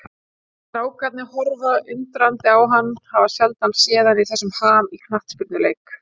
Strákarnir horfa undrandi á hann, hafa sjaldan séð hann í þessum ham í knattspyrnuleik.